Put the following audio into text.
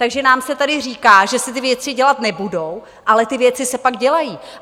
Takže nám se tady říká, že se ty věci dělat nebudou, ale ty věci se pak dělají.